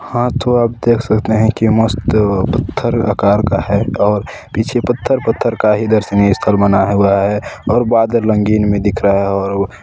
हा तो आप देख सकते है की मस्त पत्थर आकर का है और पीछे पत्थर-पत्थर का दर्शनीय स्थल बना हुआ है और बादल रंगीन में दिख रहा है और वो --